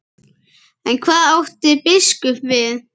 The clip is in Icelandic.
En hvað átti biskup við?